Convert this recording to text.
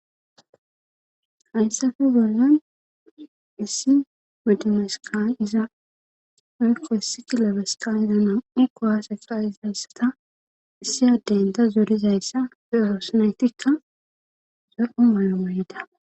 hayssafe gollan issi medimeska iza ayko hessi kilobeska yana iko haseqqaisayssata issi addeyn ta zorizayssa fe eroosneytikka zoqu mayo mayda